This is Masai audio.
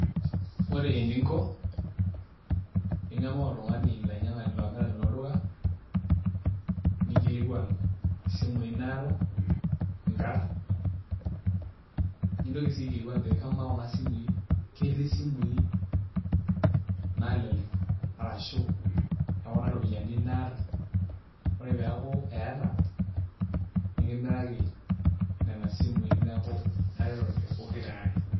Ore eninko pii ingamaa oltung'ani, olamirani lolduka ningilikuan isimuui naata nkarn nintoki sii aikilikuan ajoki kamaa kuna simuui ketii isimuui naalelek arashu e kuna ropiyiani naata, ore pee eeku eeta nikimiraki nena simuui neeku itaretote pokiraare.